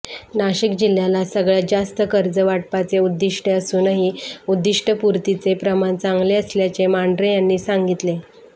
नाशिक जिल्ह्याला सगळ्यात जास्त कर्ज वाटपाचे उद्दीष्टे असूनही उद्दिष्टपूर्तीचे प्रमाण चांगले असल्याचे मांढरे यांनी सांगितले